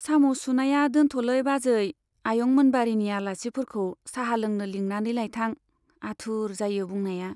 साम' सुनाया दोनथ'लै बाजै , आयं मोनबारीनि आलासिफोरखौ चाहा लोंनो लिंनानै लायथां, आथुर जायो बुंनाया।